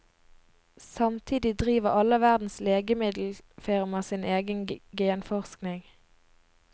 Samtidig driver alle verdens legemiddelfirmaer sin egen genforskning.